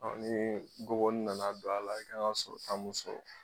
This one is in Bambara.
nii gɔbɔni nana don a la i kan ŋa sɔrɔta mun sɔrɔ